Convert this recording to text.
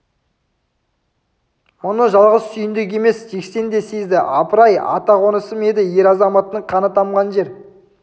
мұны жалғыз сүйіндік емес жексен де сезді апыр-ай ата қонысым еді ер азаматымның қаны тамған жер